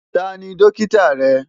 Ta ni dókítà rẹ?